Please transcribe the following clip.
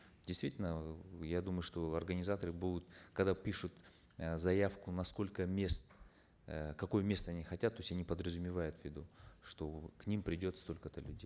действительно я думаю что организаторы будут когда пишут э заявку на сколько мест э какое место они хотят то есть они подразумевают в виду что к ним придет столько то людей